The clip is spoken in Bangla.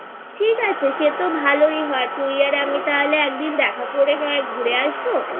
ঠিক আছে সে তো ভালোই হয় তুই আর আমি তাহলে একদিন দেখা করে না হয় ঘুরে আসবো